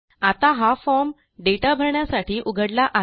आता हा फॉर्म दाता भरण्यासाठी उघडला आहे